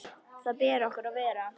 Þar ber okkur að vera!